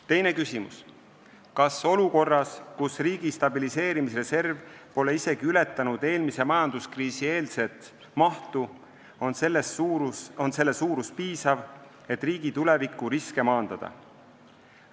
Teine küsimus: "Kas olukorras, kus riigi stabiliseerimisreserv pole isegi ületanud eelmise majanduskriisi eelset mahtu, on selle suurus piisav, et riigi tuleviku riske maandada?